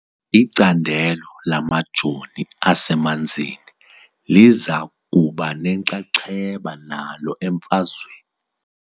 Icandelo lamajoni asemanzini liza kuba nenxaxheba nalo emfazweni .